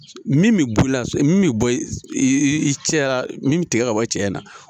Min bɛ bɔ i la min bɛ bɔ i cɛya min bɛ tigɛ ka bɔ cɛya na